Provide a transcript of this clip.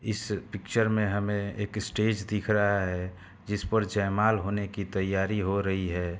इस पिक्चर में हमें एक स्टेज दिख रहा है जिसपर जयमाल होने की तैयारी हो रही है।